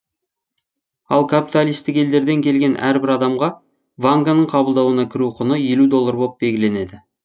ал капиталистік елдерден келген әрбір адамға ванганың қабылдауына кіру құны елу доллар боп белгіленеді